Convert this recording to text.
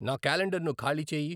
నా క్యాలెండర్ను ఖాళీ చేయి.